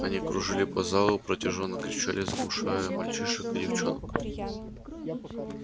они кружили по залу протяжно кричали заглушая голоса мальчишек и девчонок